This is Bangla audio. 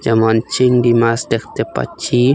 যেমন চিংড়ি মাছ দেখতে পাচ্ছি।